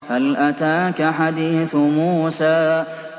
هَلْ أَتَاكَ حَدِيثُ مُوسَىٰ